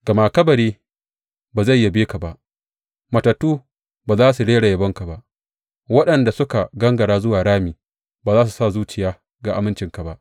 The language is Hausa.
Gama kabari ba zai yabe ka ba, matattu ba za su rera yabonka ba; waɗanda suka gangara zuwa rami ba za su sa zuciya ga amincinka ba.